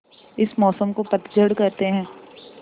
इस मौसम को पतझड़ कहते हैं